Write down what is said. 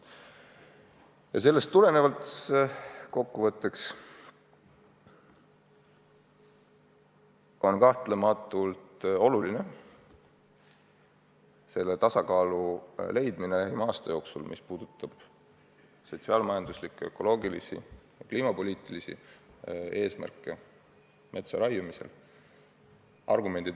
Ja sellest tulenevalt on metsa raiumisel kokkuvõttes kahtlemata oluline leida tasakaal sotsiaal-majanduslike ja ökoloogiliste, kliimapoliitiliste eesmärkide vahel.